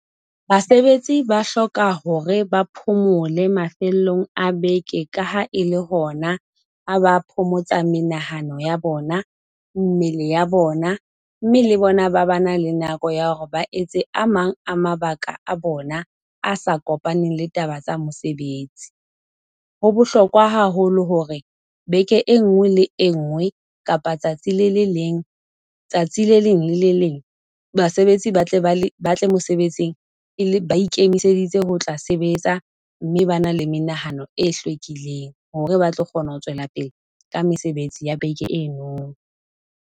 Basebetsi ba hloka hore ba phomole mafelong a beke, ka ha e le hona a ba phomotsa menahano ya bona, mmele ya bona, mme le bona ba ba na le nako ya hore ba etse a mang a mabaka a bona a sa kopaneng le taba tsa mosebetsi. Ho bohlokwa haholo hore beke e nngwe le e nngwe kapa tsatsi le le leng tsatsi le leng le le leng basebetsi ba tle ba le ba tle mosebetsing e le ba ikemiseditse ho tla sebetsa, mme ba na le menahano e hlwekileng hore ba tlo kgona ho tswela pele ka mesebetsi ya beke eno.